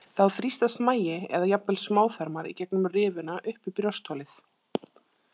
Þá þrýstast magi eða jafnvel smáþarmar í gegnum rifuna upp í brjóstholið.